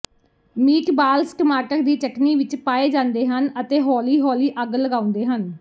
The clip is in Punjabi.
ਮੀਟਬਾਲਜ਼ ਟਮਾਟਰ ਦੀ ਚਟਣੀ ਵਿੱਚ ਪਾਏ ਜਾਂਦੇ ਹਨ ਅਤੇ ਹੌਲੀ ਹੌਲੀ ਅੱਗ ਲਗਾਉਂਦੇ ਹਨ